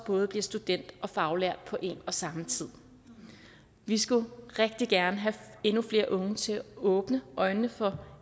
både bliver student og faglært på en og samme tid vi skal rigtig gerne have endnu flere unge til at åbne øjnene for